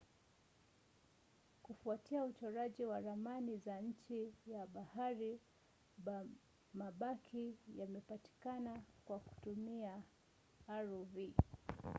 kufuatia uchoraji wa ramani za chini ya bahari mabaki yamepatikana kwa kutumia rov